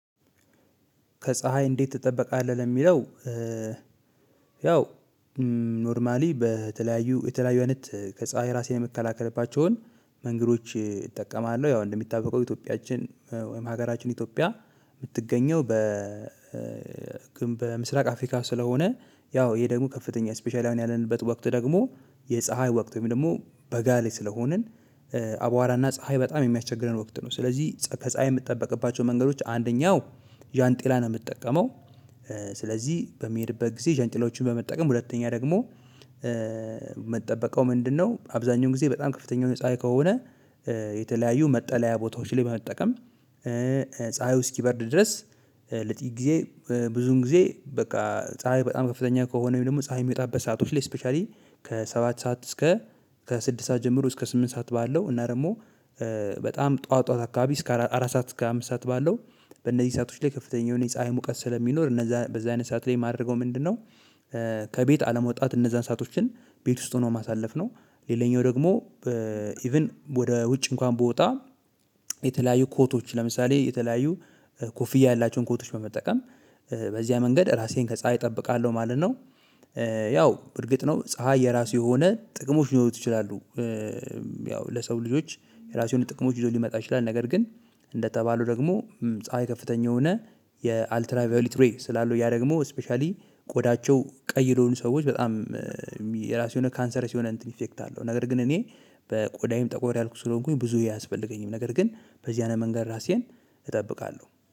ከፀሀይ እንዴት ትጠበቃለህ ለሚለው? ያው ኖርማሊ በተለያዩ የተለያዩ አይነት ከፀሀይ ራሴን የምከላከልባቸውን መንገዶች እጠቀማለሁ። ያው እንደሚታበቀው ኢትዮጵያችን ወይም ሀገራችን ኢትዮጵያ የምትገኘው በ በምስራቅ አፍሪካ ስለሆነ ያው ይሄ ደግሞ ከፍተኛ ስፔሻሊ አሁን ያለንበት ወቅት ደግሞ የፀሀይ ወቅት ወይም ደግሞ በጋ ላይ ስለሆንን አብዋራ ና ፀሀይ የምያስቸግረን ወቅት ነው። ስለዚህ ከፀሀይ የምጠበቅባቸው መንገዶች አንደኛው ጃንጥላ ነው ምጠቀመው። ስለዚህ በምሄድበት ግዜ ጃንጥላዎችን በመጠቀም ሁለተኛው ደግሞ ምጠበቀው ምንድነው? አብዛኛው ጊዜ በጣም ከፍተኛው የሆነ ፀሀይ ከሆነ የተለያዩ መጠለያ ቦታዎች ላይ መጠቀም። ፀሀዩ እስኪበርድ ድረስ ለጥቂት ጊዜ ብዙን ጊዜ በቃ ፀሀይ በጣም ከፍተኛ ከሆነ ደግሞ ፀሀይ የሚወጣበት ሰአቶች ላይ ስፔሻሊ ከሰባት ሰዓት እስከ ከስድስት ሰዓት ጀምሮ እስከ ስምንት ሰዓት ባለው እና ደግሞ በጣም ጠዋት ጠዋት አካባቢ እስከ አራት ሰዓት እስከ አምስት ሰዓት ባለው በእነዚህ ሰአቶች ላይ ከፍተኛውን ፀሀይ ሙቀት ስለሚኖር እነዛ በዚህ አይነት ሰዓት ላይ የማደርገው ምንድነው? ከቤት አለመውጣት እነዛን ሰአቶችን ቤት ውስጥ ሆኖ ማሳለፍ ነው። ሌላኛው ደግሞ በ ኢቭን ወደ ውጭ እንኳን ብወጣ የተለያዩ ኮቶች ለምሳሌ የተለያዩ ኮፍያ ያላቸውን ኮቶች በመጠቀም በዚያ መንገድ ራሴን ከፀሀይ እጠብቃለሁ ማለት ነው። ያው እርግጥ ነው ፀሀይ የራሱ የሆነ ጥቅሞች ሊኖሩት ይችላሉ። ያው ለሰው ልጆች የራሱን ጥቅሞች ይዞ ሊመጣ ይችላል። ነገር ግን እንደተባለው ደግሞ ፀሀይ ከፍተኛ የሆነ የአልትራቬሊት ሬይ ስላሉ ያ ደግሞ ስፔሻሊ ቆዳቸው ቀይለውን ሰዎች በጣም የራሱ የሆነ ካንሰር ሲሆን እንትን ኢፌክት አለው። ነገር ግን እኔ በቆዳዬም ጠቆር ያልኩት ስለሆንኩኝ ብዙ ያስፈልገኝም ነገር ግን በዚህ አይነት መንገድ ራሴን እጠብቃለሁ።